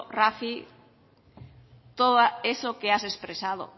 rafi todo eso que has expresado